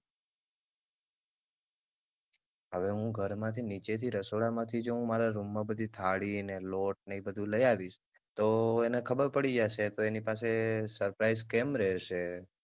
હવે હું ઘર માંથી નીચેથી રસોડામાંથી જો હું મારા રૂમમાં બધી થાળી ને લોટ ને ઇ બધુ લયાવીશ તો એને ખબર પડી જાશે તો એની પાસે suprise કેમ રેહેશે.